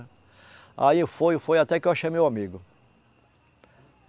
Aí eu fui, fui, até que eu achei meu amigo.